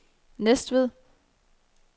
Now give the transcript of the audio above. Næstved